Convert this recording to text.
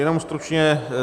Jenom stručně.